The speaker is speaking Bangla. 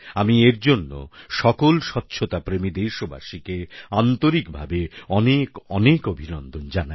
আমি এর জন্য সকল স্বচ্ছতাপ্রেমী দেশবাসীকে আন্তরিকভাবে অনেক অনেক অভিনন্দন জানাই